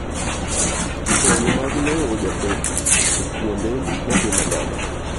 Pong' mag lowo jabet e kwonde motimo gode.